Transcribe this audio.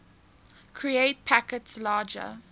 create packets larger